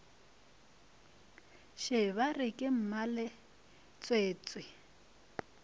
še ba re ke mmaletswetswe